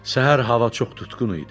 Səhər hava çox tutqun idi.